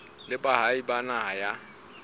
le baahi ba naha ya